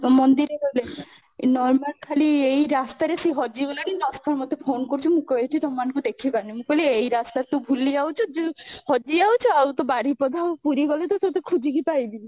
ମନ୍ଦିରରେ ଏଇ normal ଖାଲି ଏଇ ରାସ୍ତାରେ ସେ ହଜି ଗଲାଣି ଦଶଥର ମୋତେ ଫୋନ କରୁଛି ମୁଁ କହୁଛି ତମ ମାନଙ୍କୁ ମୁଁ ଦେଖି ପାରୁନି ମୁଁ କହିଲି ତୁ ଏଇ ରାସ୍ତାରେ ଭୁଲି ଯାଉଚୁ ହଜି ଯାଉଛୁ ଆଉ ତୁ ବାରିପଦା ଆଉ ପୁରୀ ଗଲେ ତ ତତେ ଖୋଜି କି ପାଇବିନି